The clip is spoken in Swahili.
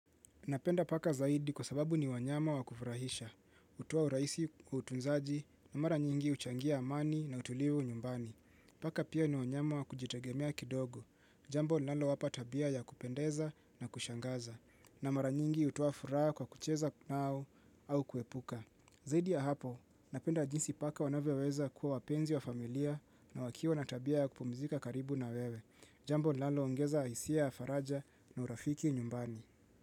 Napenda paka zaidi kwa sababu ni wanyama wa kufurahisha. Utoa uraisi utunzaji na mara nyingi uchangia amani na utulivu nyumbani. Paka pia ni wanyama wa kujitegemea kidogo. Jambo linalowapa tabia ya kupendeza na kushangaza. Na mara nyingi utoa furaha kwa kucheza nao au kuepuka. Zaidi ya hapo, napenda jinsi paka wanavypweza kuwa wapenzi wa familia na wakiwa na tabia ya kupumzika karibu na wewe. Jambo linaloongeza isia ya faraja na urafiki nyumbani.